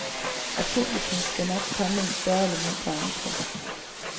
Og publikum skal nok komme i større eller mindre antal.